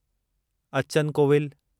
Achan Kovil